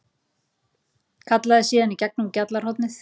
Kallaði síðan í gegnum gjallarhornið